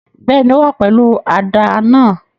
Bẹ́ẹ̀ni, o wa pẹlu àdá náa